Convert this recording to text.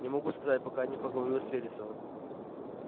не могу сказать пока не поговорю с вересовым